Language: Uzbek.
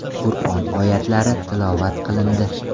Qur’on oyatlari tilovat qilindi.